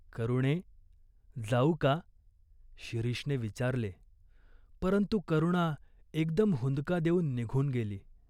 "करुणे, जाऊ का?" शिरीषने विचारले, परंतु करुणा एकदम हुंदका देऊन निघून गेली.